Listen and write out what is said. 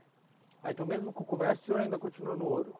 Ah, então mesmo com o comércio, o senhor ainda continuou no ouro?